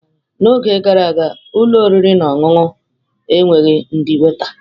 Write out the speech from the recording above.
N'oge gara aga, ụlọ oriri na ọṅụṅụ enweghị ndị waita.